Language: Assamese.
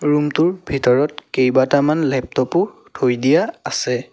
ৰূম টোৰ ভিতৰত কেইবাটামান লেপটপ ও থৈ দিয়া আছে।